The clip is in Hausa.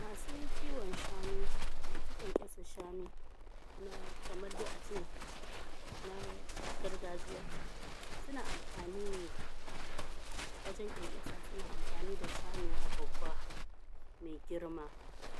masu kiwon shanu na kamar dai a ce na gargajiya suna amfani ne da wajen ƙyanƙyasa suna amfani da shanuwa babba me girma